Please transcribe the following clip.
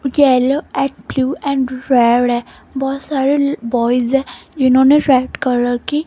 yellow and blue and red है बहोत सारे बॉयज है जिन्होंने रेड कलर के --